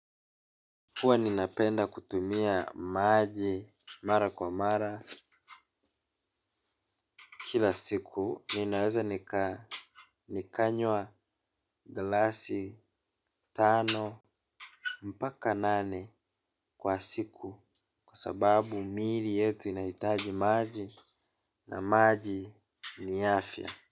Huwa ninapenda kutumia maji mara kwa mara kila siku ninaweza nikaa nikanywa glasi tano mpaka nane kwa siku kwa sababu mili yetu inahitaji maji na maji ni afya.